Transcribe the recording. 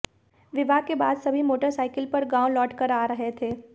विवाह के बाद सभी मोटरसाइकल पर गांव लौटकर आ रहे थे